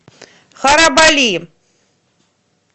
харабали